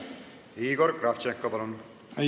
Igor Kravtšenko, palun!